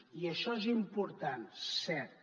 i això és important cert